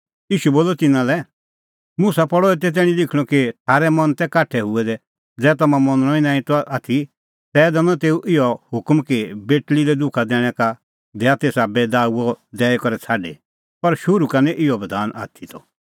ईशू बोलअ तिन्नां लै मुसा पल़अ एते तैणीं लिखणअ कि थारै मन तै काठै हुऐ दै ज़ै तम्हां मनणअ ई नांईं त आथी तै दैनअ तेऊ इहअ हुकम कि बेटल़ी लै दुखा दैणैं का दैआ तेसा बैईदाऊअ दैई करै छ़ाडी पर शुरू का निं इहअ बधान आथी त